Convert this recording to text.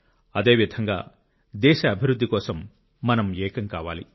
అదేవిధంగా దేశ అభివృద్ధి కోసం మనం ఏకం కావాలి